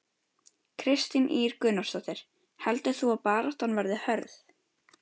Kristín Ýr Gunnarsdóttir: Heldur þú að baráttan verði hörð?